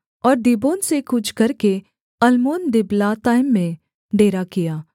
और दीबोन से कूच करके अल्मोनदिबलातैम में डेरा किया